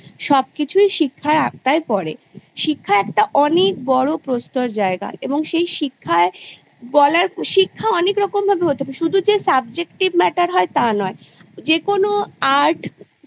সবকিছুই শিক্ষার আওতায় পরে শিক্ষা একটা অনেক বড়ো প্রস্তর জায়গা এবং সেই শিক্ষায় বলার শিক্ষা অনেক রকমভাবে হতে পারে শুধু যে Subjective Matter হয় তা নয় যেকোনো Art